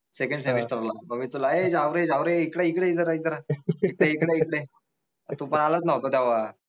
secondsemester ला मग मी तुला ए जावरे जावरे इकडे ये इकडे ये इधर आ इधर आ तू पाहालाच नव्हता तेवा